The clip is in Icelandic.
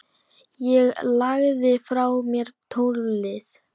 Ég lagði frá mér tólið.